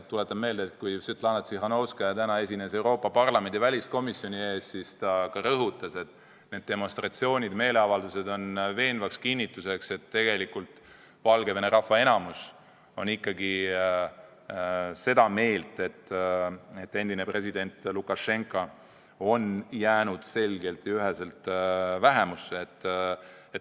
Tuletan meelde, et kui Svetlana Tsihhanovskaja täna esines Euroopa Parlamendi väliskomisjoni ees, siis ta ka rõhutas, et need demonstratsioonid, meeleavaldused on veenev kinnitus, et tegelikult enamik Valgevene rahvast on seda meelt, et endine president Lukašenka on jäänud selgelt ja üheselt vähemusse.